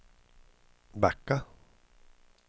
backa